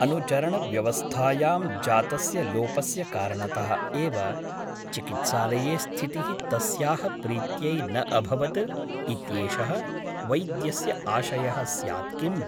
अनुचरणव्यवस्थायां जातस्य लोपस्य कारणतः एव चिकित्सालये स्थितिः तस्याः प्रीत्यै न अभवत् इत्येषः वैद्यस्य आशयः स्यात् किम् ?